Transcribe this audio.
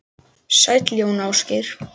Sæll Jón Ásgeir!